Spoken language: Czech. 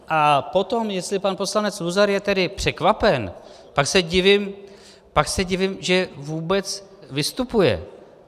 A potom, jestli pan poslanec Luzar je tedy překvapen, pak se divím, že vůbec vystupuje.